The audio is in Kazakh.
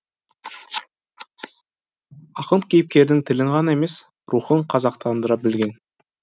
ақын кейіпкердің тілін ғана емес рухын қазақтандыра білген